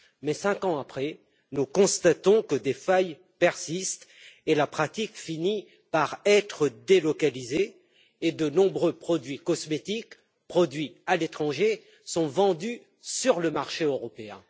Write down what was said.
Mais 5 ans après, nous constatons que des failles persistent et la pratique finit par être délocalisée et de nombreux produits cosmétiques produits à l'étranger sont vendus sur le marché européen.